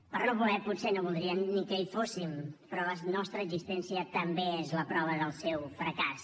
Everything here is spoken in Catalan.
per no voler potser no voldrien ni que hi fóssim però la nostra existència també és la prova del seu fracàs